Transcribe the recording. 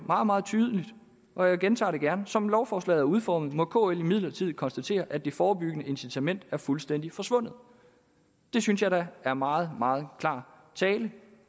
meget meget tydeligt og jeg gentager det gerne som lovforslaget udformet må kl imidlertid konstatere at det forebyggende incitament er fuldstændig forsvundet det synes jeg da er meget meget klar tale